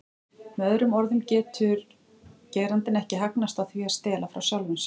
Með öðrum orðum getur getur gerandinn ekki hagnast á því að stela frá sjálfum sér.